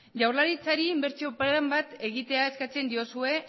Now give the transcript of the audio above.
jaurlaritzari inbertsio plan bat egitea eskatzen diozue